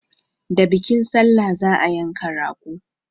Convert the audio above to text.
Da bikin salla za a yanka rago.